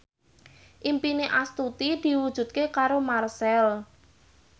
impine Astuti diwujudke karo Marchell